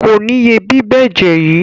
Kò ní ye bíbẹ́jẹ̀ yìí.